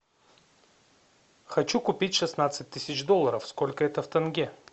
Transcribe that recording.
хочу купить шестнадцать тысяч долларов сколько это в тенге